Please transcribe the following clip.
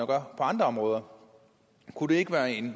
på andre områder kunne det ikke være en